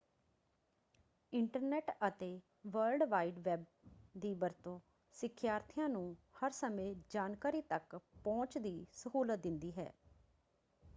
Internet ਅਤੇ world wide web ਦੀ ਵਰਤੋਂ ਸਿੱਖਿਆਰਥੀਆਂ ਨੂੰ ਹਰ ਸਮੇਂ ਜਾਣਕਾਰੀ ਤੱਕ ਪਹੁੰਚ ਦੀ ਸਹੂਲਤ ਦਿੰਦੀ ਹੈ।